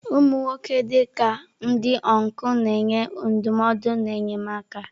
Ụmụ nwoke, dị ka ndị ọncụl, na-enye ndụmọdụ na enyemaka.